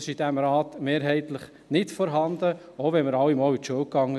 Das ist in diesem Rat mehrheitlich nicht vorhanden, auch wenn wir alle einmal zur Schule gingen.